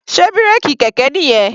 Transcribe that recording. Sé bírèkì kẹ̀kẹ́ nìyẹn?